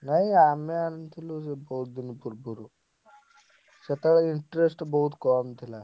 ନାଇ ଆମେ ଆଣିଥିଲୁ ସେ ବହୁତ ଦିନି ପୂର୍ବୁରୁ। ସେତବେଳେ interest ବହୁତ କମ୍ ଥିଲା।